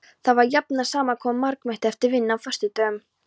Þar var jafnan saman komið margmenni eftir vinnu á föstudögum.